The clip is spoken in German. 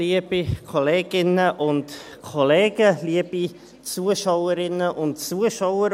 Liebe Kolleginnen und Kollegen, liebe Zuschauerinnen und Zuschauer: